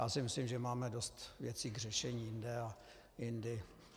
Já si myslím, že máme dost věcí k řešení jinde a jindy.